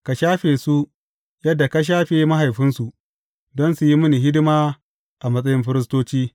Ka shafe su yadda ka shafe mahaifinsu, don su yi mini hidima a matsayin firistoci.